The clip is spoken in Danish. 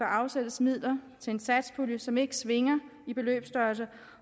afsættes midler til en satspulje som ikke svinger i beløbsstørrelse